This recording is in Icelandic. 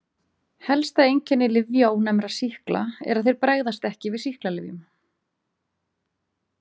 Helsta einkenni lyfjaónæmra sýkla er að þeir bregðast ekki við sýklalyfjum.